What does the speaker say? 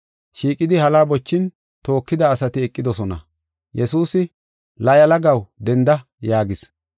Shiiqidi hala bochin tookida asati eqidosona. Yesuusi, “La, yalagaw denda” yaagis.